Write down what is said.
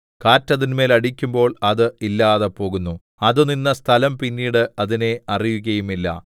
കാറ്റ് അതിന്മേൽ അടിക്കുമ്പോൾ അത് ഇല്ലാതെ പോകുന്നു അത് നിന്ന സ്ഥലം പിന്നീട് അതിനെ അറിയുകയുമില്ല